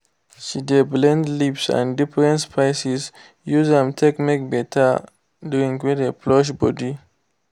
she de blend leaves and different spices use am take make better drink wey dey flush body.